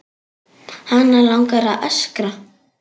Hana langar að öskra.